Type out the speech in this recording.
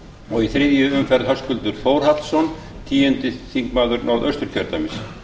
og í þriðju umferð höskuldur þórhallsson tíundi þingmaður norðausturkjördæmis